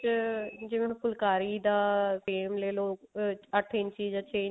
ਚ ਜਿਵੇਂ ਹੁਣ ਫੁਲਕਾਰੀ ਦਾ frame ਲੈਲੋ ਅਮ ਅੱਠ ਇੰਚੀ ਜਾ ਛੇ ਇੰਚੀ